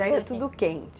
Já ia tudo quente?